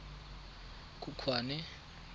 khukhwane